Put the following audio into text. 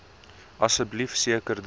asseblief seker dat